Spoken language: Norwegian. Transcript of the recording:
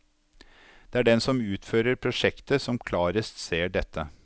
Det er den som utfører prosjektet, som klarest ser dette.